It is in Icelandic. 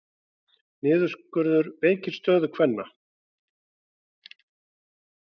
Niðurskurður veikir stöðu kvenna